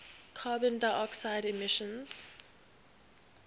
carbon dioxide emissions